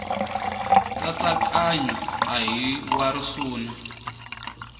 nkatsakanyo a hi wa risuna